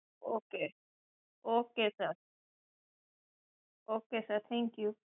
Ok Ok sir Ok sir, thank you